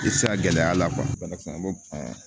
I tɛ se ka gɛlɛya la banakisɛ b'o ban